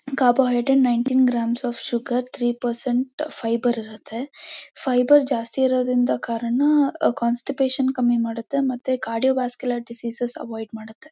Carbo hydrates nineteen grams of sugar three percent fibre ಇರುತ್ತೆ fibre ಜಾಸ್ತಿ ಇರೋದ್ರಿಂದ ಕಾರಣ ಕಾನ್ಸ್ಟಿಪೇಶನ್ ಕಮ್ಮಿ ಮಾಡುತ್ತೆ ಮತ್ತೆ ಕಾರ್ಡಿಯೋ ವಾಸ್ಕ್ಯುಲರ್ ಡಿಸೀಸ್ ಅವಾಯ್ಡ್ ಮಾಡುತ್ತೆ.